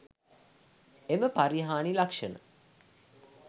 එම පරිහානි ලක්ෂණ